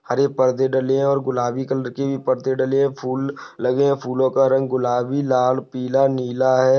हरे पर्दे डले है और गुलाबी कलर के भी पर्दे डले है फूल लगे है फूलो का रंग गुलाबी लाल पीला नीला है।